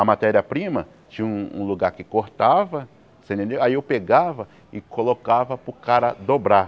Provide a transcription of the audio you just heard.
A matéria-prima tinha um um lugar que cortava, você entendeu aí eu pegava e colocava para o cara dobrar.